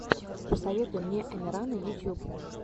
посоветуй мне амирана ютьюб